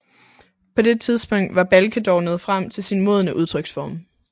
På det tidspunkt var Balke dog nået frem til sin modne udtryksform